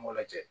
N m'o lajɛ